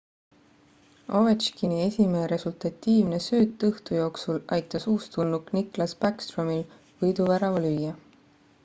ovechkini esimene resultatiivne sööt õhtu jooksul aitas uustulnuk nicklas backstromil võiduvärava lüüa